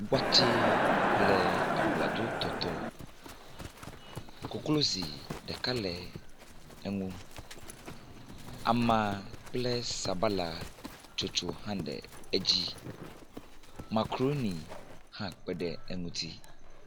Watse kple abladzotɔtɔ, koklozi ɖeka le eŋu, ama kple sabalatsotso hã le edzi. Makroni hã kpe ɖe eŋuti.